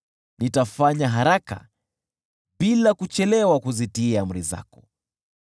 Nitafanya haraka bila kuchelewa kuzitii amri zako.